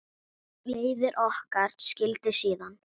Leiðir okkar skildi síðan.